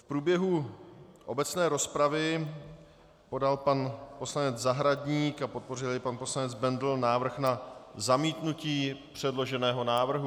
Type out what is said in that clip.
V průběhu obecné rozpravy podal pan poslanec Zahradník, a podpořil jej pan poslanec Bendl, návrh na zamítnutí předloženého návrhu.